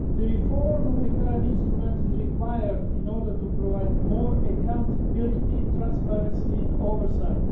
Reform of the current instruments is required in order to provide more accountability, transparency and oversight.